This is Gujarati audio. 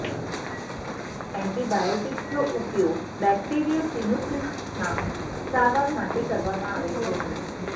એન્ટીબાયોટીક્સનો ઉપયોગ બેક્ટેરીયસ સિનુસિસ્ટિસના સારવાર માટે કરવામાં આવે છે